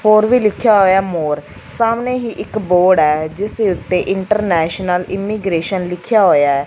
ਹੋਰ ਵੀ ਲਿਖਿਆ ਹੋਇਆ ਮੋਰ ਸਾਹਮਣੇ ਹੀ ਇੱਕ ਬੋਰਡ ਐ ਜਿਸ ਦੇ ਉੱਤੇ ਇੰਟਰਨੈਸ਼ਨਲ ਇਮੀਗਰੇਸ਼ਨ ਲਿਖਿਆ ਹੋਇਆ ਐ।